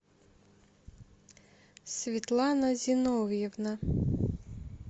светлана зиновьевна